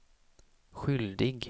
skyldig